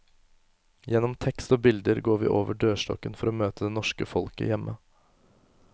Gjennom tekst og bilder går vi over dørstokken for å møte det norske folket hjemme.